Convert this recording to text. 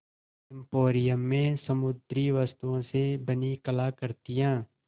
emporium में समुद्री वस्तुओं से बनी कलाकृतियाँ